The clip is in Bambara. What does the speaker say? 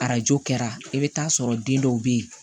Arajo kɛra i bɛ taa sɔrɔ den dɔw bɛ yen